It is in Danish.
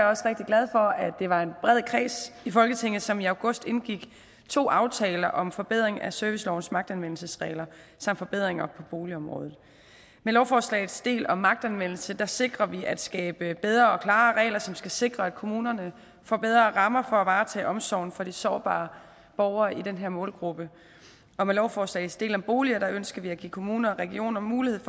også rigtig glad for at det var en bred kreds i folketinget som i august indgik to aftaler om forbedring af servicelovens magtanvendelsesregler samt forbedringer på boligområdet med lovforslagets del om magtanvendelse sikrer sikrer vi at skabe bedre og klarere regler som skal sikre at kommunerne får bedre rammer for at varetage omsorgen for de sårbare borgere i den her målgruppe og med lovforslagets del om boliger ønsker vi at give kommuner og regioner mulighed